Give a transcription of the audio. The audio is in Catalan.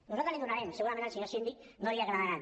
nosaltres li’n donarem segurament al senyor síndic no li agradaran